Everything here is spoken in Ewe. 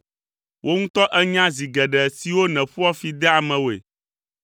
Wò ŋutɔ ènya zi geɖe siwo nèƒoa fi dea amewoe!